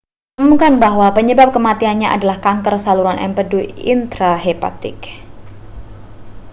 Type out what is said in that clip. diumumkan bahwa penyebab kematiannya adalah kanker saluran empedu intrahepatik